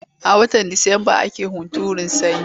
A watan Disamba ake hunturun sanyi.